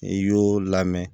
I y'o lamɛn